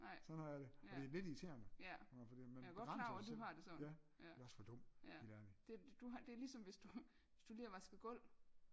Nej ja ja jeg var godt klar over du har det sådan ja ja det du det ligesom hvis du hvis du lige har vasket gulv